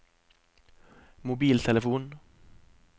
mobiltelefon